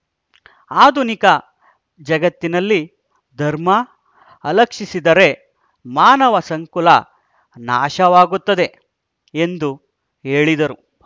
ಆಧುನಿಕ ಜಗತ್ತಿನಲ್ಲಿ ಧರ್ಮ ಅಲಕ್ಷಿಸಿದರೆ ಮಾನವ ಸಂಕುಲ ನಾಶವಾಗುತ್ತದೆ ಎಂದು ಹೇಳಿದರು